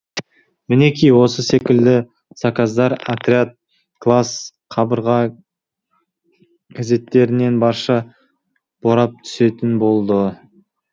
мінеки осы секілді заказдар отряд класс қабырға газеттерінен барша борап түсетін болды